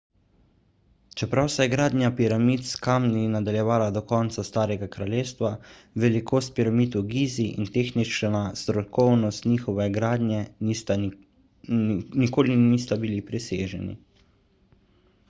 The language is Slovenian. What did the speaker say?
čeprav se je gradnja piramid s kamni nadaljevala do konca starega kraljestva velikost piramid v gizi in tehnična strokovnost njihove gradnje nikoli nista bili preseženi